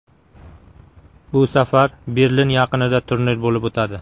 Bu safar Berlin yaqinida turnir bo‘lib o‘tadi.